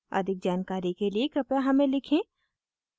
अधिक जानकारी के लिए कृपया हमें लिखें